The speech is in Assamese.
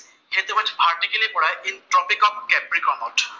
এইটো অৱশ্যে ভাৰটিকেলি পৰে ইন ট্ৰপীক অফ কেপ্ৰিকমত।